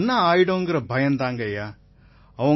நிதேஷ் குப்தா எனக்கு என்ன ஆயிடுமோங்கற பயம் தான்